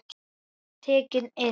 Ég var tekinn inn.